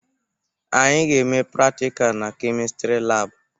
Anyị ga-eme pratika na Kemịstri laabụ.